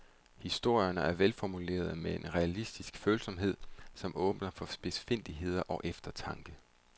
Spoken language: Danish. Historierne er velformulerede med en realistisk følsomhed, som åbner for spidsfindigheder og eftertanke.